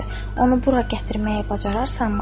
onu bura gətirməyi bacararsanmı?